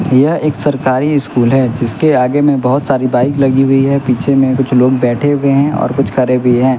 यह एक सरकारी स्कूल है जिसके आगे में बहोत सारी बाइक लगी हुई है पीछे में कुछ लोग बैठे हुए हैं और कुछ खड़े भी हैं।